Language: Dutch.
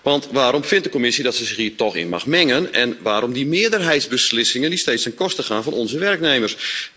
Want waarom vindt de Commissie dat ze zich hierin toch mag mengen en waarom die meerderheidsbeslissingen, die steeds ten koste gaan van onze werknemers?